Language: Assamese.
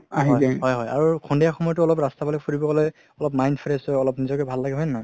হয় হয় আৰু সন্ধিয়া সময়তো অলপ ৰাস্তাৰ ফালে ফুৰিব গলে অলপ mind fresh হয় অলপ নিজকে ভাল লাগে হয় নে নহয়